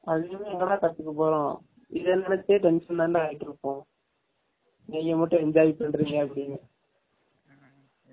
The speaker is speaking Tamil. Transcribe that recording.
அதிகமா எங்க டா கத்துகுவோம். இத எலுதுரதுகே tension தான் டா ஆயிட்டு இருபோம் நீங்க மட்டும் enjoy பன்ரிங்க அப்டினு